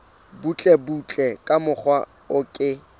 butlebutle ka mokgwa o ke